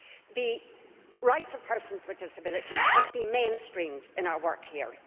The rights of persons with disabilities must be mainstreamed in our work here